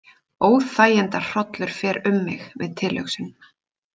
Óþægindahrollur fer um mig við tilhugsunina.